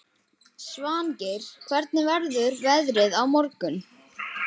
Svangeir, hvernig verður veðrið á morgun?